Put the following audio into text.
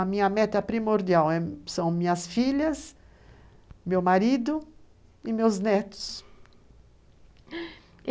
A minha meta primordial são minhas filhas, meu marido e meus netos.